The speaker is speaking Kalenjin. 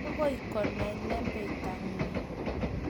Agoi konai lembektang'ung'